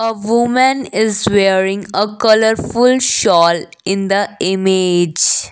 a woman is wearing a colourful shawl in the image.